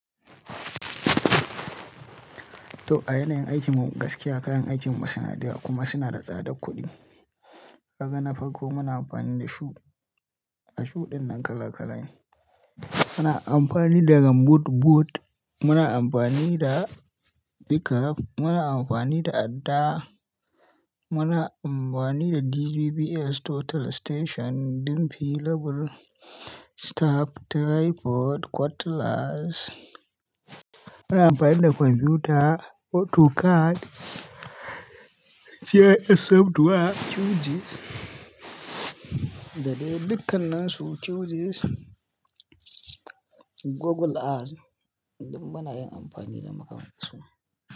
To a yanayin aikin mu gaskiya kayan aikin mu suna da yawa kuma suna da tsadar kuɗi. Ka ga na farko muna amfani da shu, a shuɗin nan kala kala ne. Muna amfani da rambut boot, muna amfani da pickup, muna amfani da adda, muna amfani da DBPS total station ɗin available, staff, tripod, quarters, muna amfani da kwamfuta, autocad, GIS software, QGIS. Da dai dukkan nansu QGIS, Google Earth, duk muna yin amfani da makamantansu.